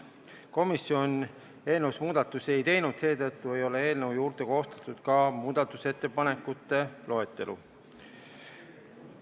Komisjon eelnõus muudatusi ei teinud, seetõttu ei ole koostatud ka muudatusettepanekute loetelu.